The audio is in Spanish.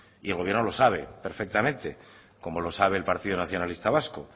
y el gobierno lo sabe perfectamente como lo sabe el partido nacionalista vasco